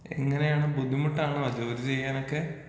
എങ്ങനേണ് ബുദ്ധിമുട്ടാണോ ജോലി ചെയ്യാനൊക്കെ?